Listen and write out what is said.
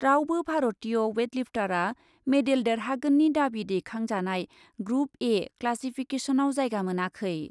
रावबो भारतीय वेटलिफ्टारआ मेडेल देरहागोननि दाबि दैखांजानाय ग्रुप ए क्लासिफिकेसनआव जायगा मोनाखै।